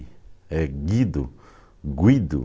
É Guido, Guido.